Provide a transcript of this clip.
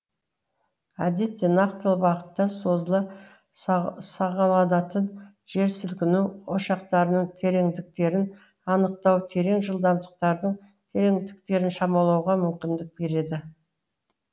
әдетте нақтылы бағытта созыла сағаланатын жерсілкіну ошақтарының тереңдіктерін анықтау терең жылдамдықтарын тереңдіктерін шамалауға мүмкіндік береді